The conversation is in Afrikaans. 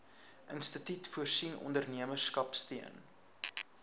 instituut voorsien ondernemerskapsteun